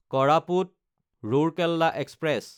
কৰাপুত–ৰৌৰকেলা express